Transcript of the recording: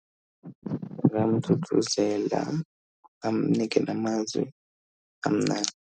Angamthuthuzela amnike namazwi amnandi.